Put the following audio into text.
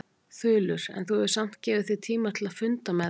Þulur: En þú hefur samt gefið þér tíma til að funda með þeim?